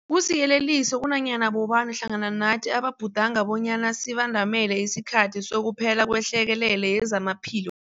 Kusiyeleliso kunanyana bobani hlangana nathi ababhudanga bonyana sibandamele isikhathi sokuphela kwehlekelele yezamaphilo